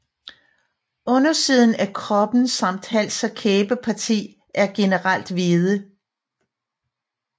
Undersiden af kroppen samt hals og kæbeparti er generelt hvide